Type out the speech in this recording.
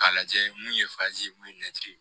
K'a lajɛ mun ye mun ye